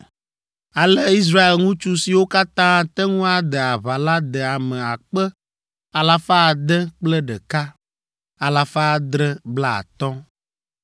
Ale Israel ŋutsu siwo katã ate ŋu ade aʋa la de ame akpe alafa ade kple ɖeka, alafa adre blaetɔ̃ (601,730).